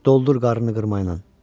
Doldur qarnını qırma ilə.